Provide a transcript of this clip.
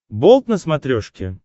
болт на смотрешке